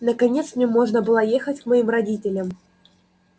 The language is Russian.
наконец мне можно было ехать к моим родителям